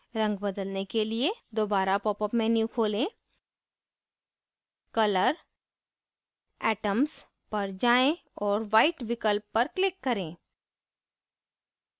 रंग बदलने के लिए दोबारा popअप menu खोलें color atoms पर जाएँ और white विकल्प पर click करें